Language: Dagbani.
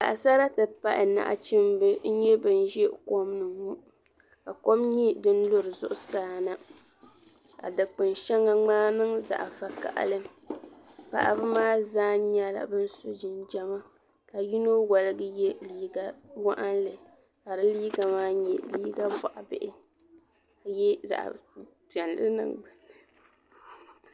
Paɣasara ti pahi nachimba n nye bin ʒi kɔm ni ŋɔ ka kɔm nyɛ din yiri zuɣusaa na ka dinkpun sheŋa ŋmai niŋ zaɣi vakahili paɣaba maa zaa nyɛla ban so jinjama ka yino waligi ye liiga waɣinli ka di liiga bɔɣa bihi ka nye zaɣi piɛlli.